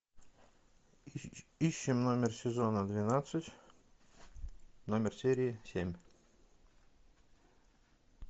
ищем номер сезона двенадцать номер серии семь